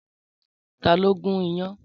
Tàló n gún iyán?